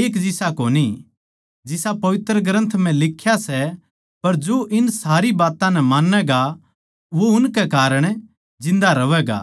एक जिसा कोणी जिसा पवित्र ग्रन्थ म्ह लिख्या सै पर जो इन सारी बात्तां नै मान्नैगा वो उनकै कारण जिन्दा रह्वैगा